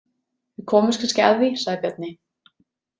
Við komumst kannski að því, sagði Bjarni.